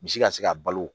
Misi ka se ka balo